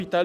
’HJB.